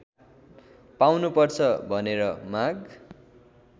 पाउनुपर्छ भनेर माग